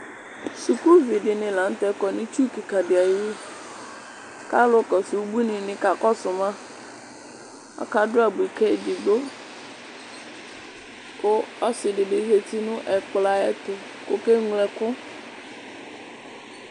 suku vi di ni lantɛ kɔ n'itsu keka di ayi wu k'alò kɔsu ubuini ni ka kɔsu ma aka du abui k'edigbo kò ɔsi di bi zati no ɛkplɔ ayi ɛto k'oke ŋlo ɛkò.